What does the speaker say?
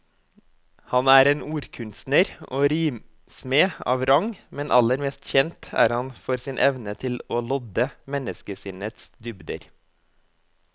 Han er en ordkunstner og rimsmed av rang, men aller mest kjent er han for sin evne til å lodde menneskesinnets dybder.